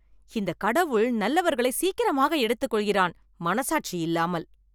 இந்த கடவுள் நல்லவர்களை சீக்கிரமாக எடுத்துகொள்கிறான். மனசாட்சி இல்லாமல்.